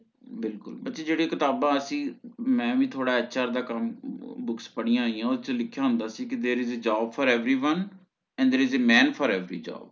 ਬਿਲਕੁਲ ਅਸੀਂ ਜਿਹੜੇ ਕਿਤਾਬਾਂ ਅਸੀਂ ਮੈਂ ਵੀ ਥੋੜ੍ਹਾ HR ਦਾ ਕੰਮ books ਪੜ੍ਹੀਆਂ ਹੋਈਆਂ ਓ ਚ ਲਿਖਿਆ ਹੁੰਦਾ ਸੀ ਕਿ There is a job for everyone and there is a man for every job